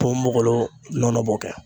Ponbogolo nɔnɔ b'o kɛ.